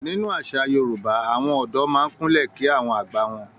Nínú àṣà Yorùbá, àwọn ọ̀dọ́ máa ń Kúnlẹ̀ kí àwọn àgbà wọn.